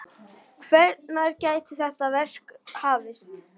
Hvenær gæti þetta verk hafist?